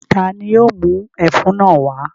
Ta ni yóò mú ẹfun náà wá?